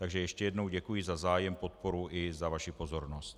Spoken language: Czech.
Takže ještě jednou děkuji za zájem, podporu i za vaši pozornost.